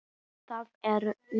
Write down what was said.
Veistu að það er til?